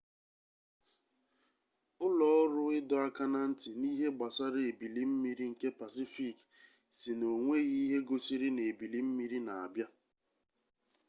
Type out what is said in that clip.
ụlọọrụ ịdọ aka na ntị n'ihe gbasara ebili mmiri nke pasifiki sị na onweghi ihe gosiri na ebili mmiri na-abịa